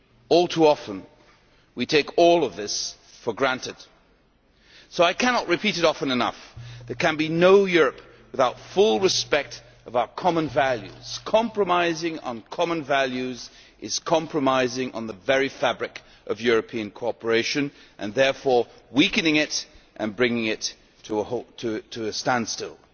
All too often we take all of this for granted. So I cannot repeat it often enough. There can be no Europe without full respect for our common values. Compromising on common values is compromising on the very fabric of European cooperation and therefore weakening it and bringing it to a standstill.